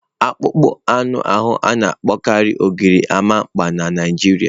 Akpụkpọ anụ ahu a na-akpọkarị gorimapa na Naịjirịa.